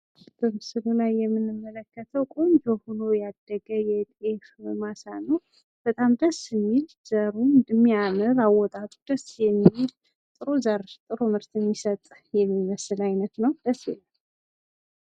ምስሉ ላይ የምንመለከተው በጣም ቆንጆ ሁኖ ያደገ የጤፍ ማሳ ነው። ይህ ጤፍ ደስ የሚል አወጣጡ በጣም የሚያምር ነው ።ጥሩ። ዘር ጥሩ ምርት ሚሰጥ የሚመስል ደስ የሚል ጤፍ ነው ።